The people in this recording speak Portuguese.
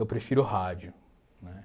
Eu prefiro rádio, né?